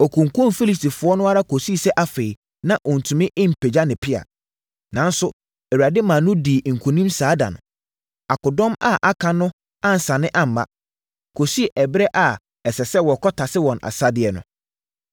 Ɔkunkumm Filistifoɔ no ara kɔsii sɛ afei, na ɔntumi mpagya ne pea. Nanso, Awurade maa no dii nkonim saa da no. Akodɔm a aka no ansane amma, kɔsii ɛberɛ a ɛsɛ sɛ wɔkɔtase wɔn asadeɛ no.